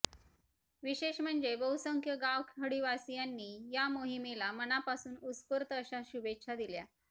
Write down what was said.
विशेष म्हणजे बहुसंख्य गावखडीवासियांनी या मोहिमेला मनापासून उत्स्फूर्त अशा शुभेच्छा दिल्या